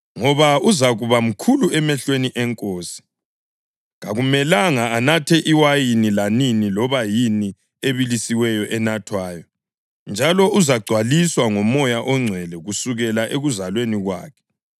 ngoba uzakuba mkhulu emehlweni eNkosi. Kakumelanga anathe iwayini lanini loba yini ebilisiweyo enathwayo, njalo uzagcwaliswa ngoMoya oNgcwele kusukela ekuzalweni kwakhe.